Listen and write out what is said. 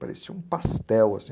Parecia um pastel, assim.